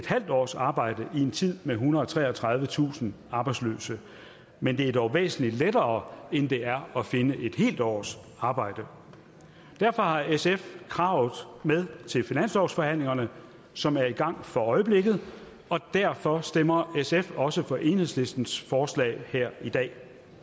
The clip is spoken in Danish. halv års arbejde i en tid med ethundrede og treogtredivetusind arbejdsløse men det er dog væsentlig lettere end det er at finde et helt års arbejde derfor har sf kravet med til finanslovsforhandlingerne som er i gang for øjeblikket og derfor stemmer sf også for enhedslistens forslag her i dag